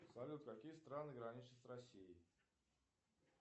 салют какие страны граничат с россией